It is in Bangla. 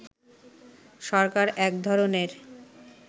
সরকার এক ধরনের